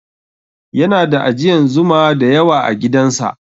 Yana da ajiyan Zuma da yawa agidan sa